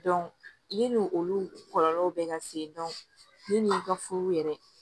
ne n'olu kɔlɔlɔw bɛ ka se ka furu yɛrɛ